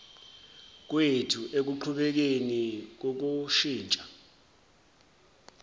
kwethu ekuqhubekeni kokushintsha